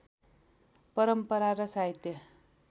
परम्परा र साहित्य